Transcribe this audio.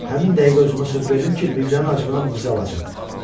Həmin dəqiqə özümə söz verdim ki, Mirzənin acığına bu qızı alacam.